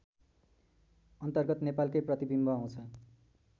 अन्तर्गत नेपालकै प्रतिबिम्ब आउँछ